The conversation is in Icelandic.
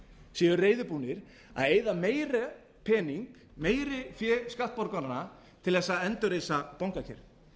séu reiðubúnir að eyða meiri pening meira fé skattborgaranna til þess að endurreisa bankakerfið